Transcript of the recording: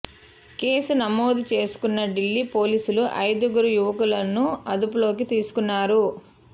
case నమోదు చేసుకున్న ఢిల్లీ పోలీసులు ఐదుగురు యువకులను అదుపులోకి తీసుకున్నారు